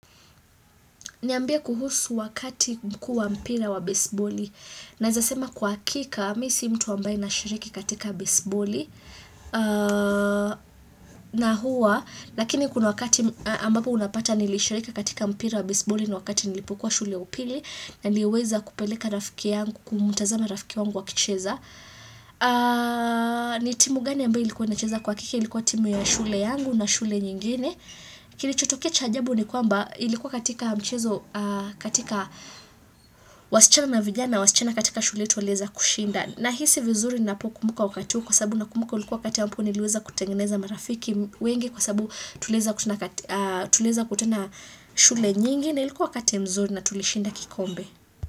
Niambia kuhusu wakati mkuu wa mpira wa besiboli. Naeza sema kwa hakika, mimi si mtu ambaye nashiriki katika besiboli. Na hua, lakini kuna wakati ambapo unapata nilishirika katika mpira wa besiboli na wakati nilipokuwa shule upili, na niliweza kupeleka rafiki yangu, kumtazama rafiki wangu akicheza. Nitimu gani ambayo ilikuwa inacheza kwa hakiki, ilikuwa timu ya shule yangu na shule nyingine. Kilichotokecha cha ajabu ni kwamba ilikuwa katika mchezo katika wasichana na vijana na wasichana katika shule walieza kushinda na hisi vizuri napo kumbuka wakati huo kwa sasabu na kumbuka ulikuwa katia mpu niliweza kutengeneza marafiki wengi kwa sababu tuliweza kushida tulieza kutana shule nyingi na ilikuwa wakati mzuri na tulishinda kikombe.